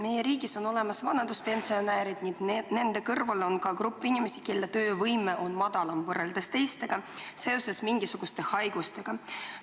Meie riigis on olemas vanaduspensionärid ning nende kõrval ka grupp inimesi, kelle töövõime on madalam kui teistel seoses mingisuguse haigusega.